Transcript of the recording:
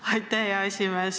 Aitäh, hea esimees!